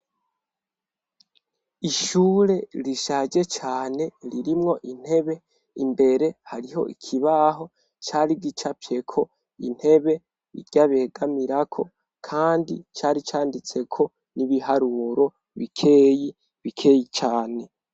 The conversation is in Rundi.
Ishure rishaje cane ririmwo intebe, imbere hariho ikibaho cari gicafyeko intebe irya begamirako kandi cari canditseko ibiharuro bikeyi, bikeyi cane.